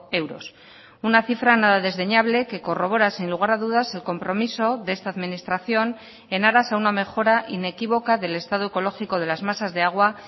euros una cifra nada desdeñable que corrobora sin lugar a dudas el compromiso de esta administración en aras a una mejora inequívoca del estado ecológico de las masas de agua